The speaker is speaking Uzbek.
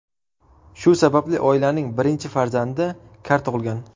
Shu sababli oilaning birinchi farzandi kar tug‘ilgan.